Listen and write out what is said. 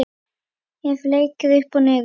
Hef leikið upp og niður.